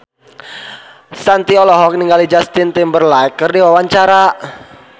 Shanti olohok ningali Justin Timberlake keur diwawancara